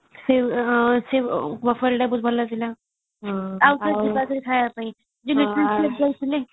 ସେ ମାହୋଲ ଟା ବହୁତ ଭଲ ଥିଲା ଆଉ କେବେ ଯିବା ସେଠିକି ଖାଇବା ପାଇଁ ଯାଇଥିଲେ